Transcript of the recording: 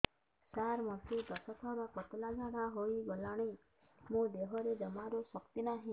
ସାର ମୋତେ ଦଶ ଥର ପତଳା ଝାଡା ହେଇଗଲାଣି ମୋ ଦେହରେ ଜମାରୁ ଶକ୍ତି ନାହିଁ